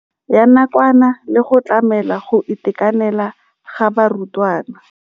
Ya nakwana le go tlamela go itekanela ga barutwana.